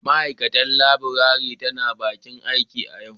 Ma'aikatar Labour tana bakin aiki a yau.